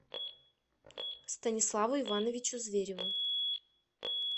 станиславу ивановичу звереву